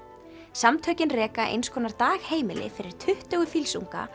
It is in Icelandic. samtökin reka einskonar dagheimili fyrir tuttugu